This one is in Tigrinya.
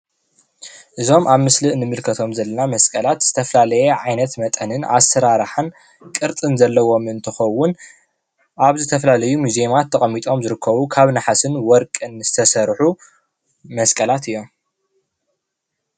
እዞም ኣብ ምስሊ ንምልከቶም ዘለና መስቀላት ዝተፈኣለየ ዓይነት መጠንን ኣሰራርሓን ቅርፅን ዘለዎም እንትከውን ኣብ ዝተፈላለዩ ሙዝየማት ተቐሚጦም ዝርከቡ ካብ ነሓስን ወርቅን ዝተሰርሑ መስቀላት እዮም ።